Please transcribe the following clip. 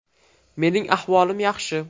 Mening ahvolim yaxshi.